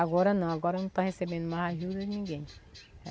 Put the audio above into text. Agora não, agora não está recebendo mais ajuda de ninguém.